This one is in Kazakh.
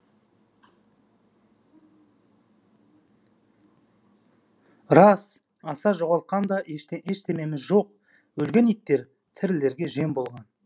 рас аса жоғалтқан да ештемеміз жоқ өлген иттер тірілерге жем болған